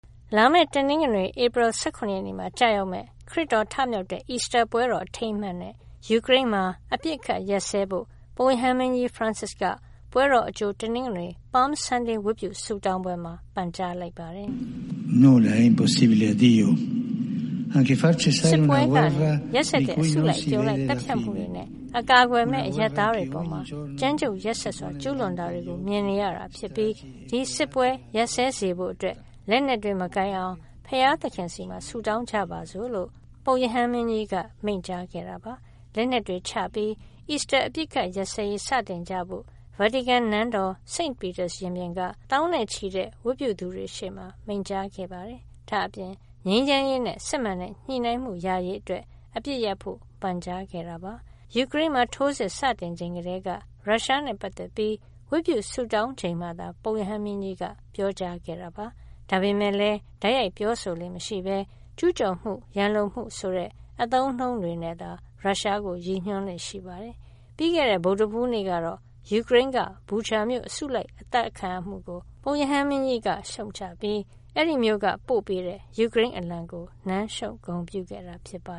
လာမယ့် တနင်္ဂနွေ ဧပြီလ ၁၇ ရက်နေ့မှာ ကျရောက်မယ့် ခရစ်တော် ထမြောက်တဲ့ အီစတာပွဲတော် အထိမ်းအမှတ်အနေနဲ့ ယူကရိန်းမှာ အပစ်အခတ်ရပ်စဲဖို့ ပုပ်ရဟန်းမင်းကြီး Francis က ပွဲတော်အကြို တနင်္ဂနွေ (Palm Sunday) ဝတ်ပြုဆုတောင်းပွဲမှာ ပန်ကြားလိုက်ပါတယ်။ “စစ်ပွဲကနေ မျက်စိရှေ့မှာတင် ရက်စက်တဲ့ အစုလိုက်အပြုံလိုက် သတ်ဖြတ်မှုတွေနဲ့ အကာအကွယ်မဲ့ အရပ်သားတွေအပေါ် ကြမ်းကြုတ်ရက်စက်စွာ ကျူးလွန်တာတွေ မြင်နေရတာဖြစ်ပြီး ဒီစစ်ပွဲ ရပ်စဲစေဖို့အတွက် လက်နက်တွေ မကိုင်ကြအောင် ဘုရားသခင်ဆီမှာ ဆုတောင်းကြပါစို့။” လို့ ပုပ်ရဟန်းမင်းကြီးက မိန့်ကြားခဲ့တာပါ။ လက်နက်တွေချပြီး အီစတာ အပစ်အခတ်ရပ်စဲရေး စတင်ကြဖို့ ဗာတီကန်နန်းတော် St. Peter ရင်ပြင်က သောင်းနဲ့ချီတဲ့ ဝတ်ပြုသူတွေရှေ့မှာ မိန့်ကြားခဲ့ပါတယ်။ ဒါ့အပြင် ငြိမ်းချမ်းရေးနဲ့ စစ်မှန်တဲ့ ညှိနှိုင်းမှု ရရေးအတွက် အပစ်ရပ်ဖို့ ပန်ကြားခဲ့တာပါ။ ယူကရိန်းမှာ ထိုးစစ်စတင်ချိန်ကတည်းက ရုရှားနဲ့ပတ်သက်ပြီး ဝတ်ပြုဆုတောင်းချိန်မှာသာ ပုပ်ရဟန်းမင်းကြီးက ပြောကြားခဲ့တာပါ။ ဒါပေမဲ့လည်း တိုက်ရိုက်ပြောဆိုလေ့မရှိဘဲ ကျူးကျော်မှု၊ ရန်လိုမှုဆိုတဲ့ အသုံးအနှုန်းတွေနဲ့သာ ရုရှားကို ရည်ညွှန်းလေ့ရှိပါတယ်။ ပြီးခဲ့တဲ့ ဗုဒ္ဓဟူးနေ့ကတော့ ယူကရိန်းက Bucha မြို့ လူအစုလိုက် အသတ်ခံရမှုကို ပုပ်ရဟန်းမင်းကြီးက ရှုတ်ချပြီး အဲဒီမြို့က ပို့ပေးတဲ့ ယူကရိန်းအလံကို နမ်းရှုပ် ဂုဏ်ပြုခဲ့တာပါ